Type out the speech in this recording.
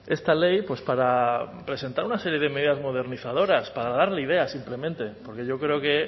esta ley para presentar una serie de medidas modernizadoras para darle ideas simplemente porque yo creo que